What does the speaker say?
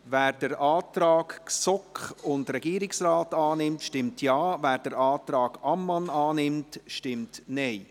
Wer den Antrag GSoK-Mehrheit und Regierungsrat annimmt, stimmt Ja, wer den Antrag Ammann annimmt, stimmt Nein.